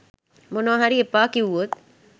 මොනවා හරි එපා කිව්වොත්